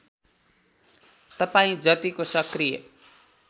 तपाईँ जतिको सकृय